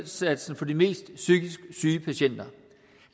indsatsen for de mest psykisk syge patienter